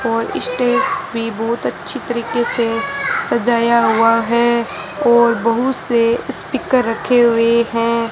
और स्टेज मे बहोत अच्छी तरीके से सजाया हुआ है और बहुत से स्पीकर रखे हुए है।